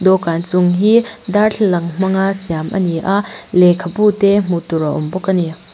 dawhkan chung hi darthlalang hmanga siam a ni a lehkhabu te hmuh tur a awm bawk a ni.